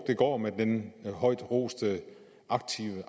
det går med den højt roste aktiv